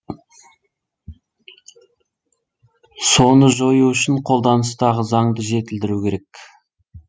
соны жою үшін қолданыстағы заңды жетілдіру керек